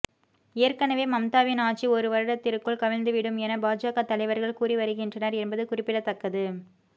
ஏற்கனவே மம்தாவின் ஆட்சி ஒரு வருடத்திற்குள் கவிழ்ந்துவிடும் என பாஜக தலைவர்கள் கூறி வருகின்றனர் என்பது குறிப்பிடத்தக்கது